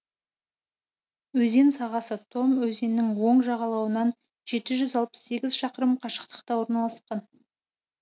өзен сағасы томь өзенінің оң жағалауынан жеті жүз алпыс сегіз шақырым қашықтықта орналасқан